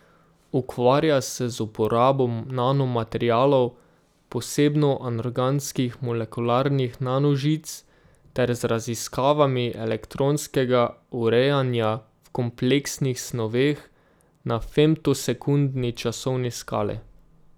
Ukvarja se z uporabo nanomaterialov, posebno anorganskih molekularnih nanožic, ter z raziskavami elektronskega urejanja v kompleksnih snoveh na femtosekundni časovni skali.